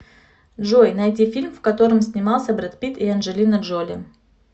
джой найди фильм в котором снимался бред питт и анджелина джоли